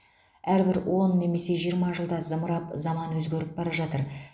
әрбір он немесе жиырма жылда зымырап заман өзгеріп бара жатыр